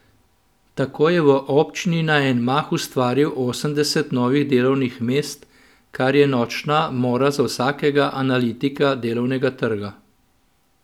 Tako je v občini na en mah ustvaril osemdeset novih delovnih mest, kar je nočna mora za vsakega analitika delovnega trga.